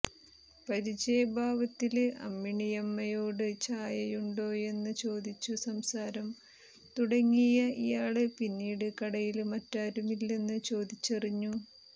പരിചയഭാവത്തില് അമ്മിണിയമ്മയോട് ചായയുണ്ടോയെന്ന് ചോദിച്ചു സംസാരം തുടങ്ങിയ ഇയാള് പിന്നീട് കടയില് മറ്റാരുമില്ലെന്ന് ചോദിച്ചറിഞ്ഞു